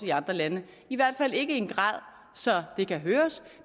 i andre lande i hvert fald ikke i en grad så det kan høres